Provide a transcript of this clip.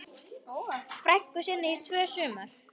frænku sinni í tvö sumur.